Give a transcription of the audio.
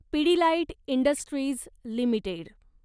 Pidilite industries limited